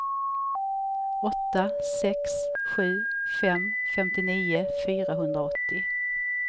åtta sex sju fem femtionio fyrahundraåttio